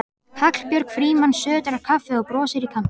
Hallbjörg Frímanns sötrar kaffið og brosir í kampinn.